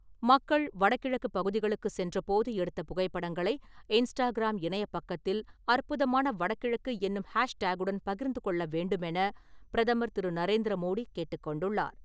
மக்கள் வடகிழக்கு பகுதிகளுக்கு சென்றபோது எடுத்த புகைப்படங்களை, இன்ஸ்டாகிராம் இணையப் பக்கத்தில் அற்புதமான வடகிழக்கு என்னும் ஹேஷ்டாக்-குடன் பகிர்ந்து கொள்ள வேண்டுமென பிரதமர் திரு. நரேந்திர மோடி கேட்டுக்கொண்டுள்ளார்.